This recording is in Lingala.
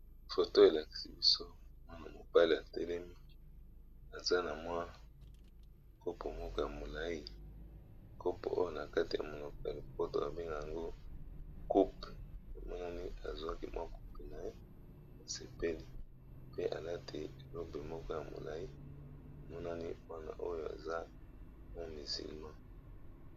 Photo elakisi biso mwana mobali atelemi aza na kopo ya molayi kopo oyo na monoko ya lopoto babengaka yango coupe emonani aswi kopo wana pe emonani aza musulman.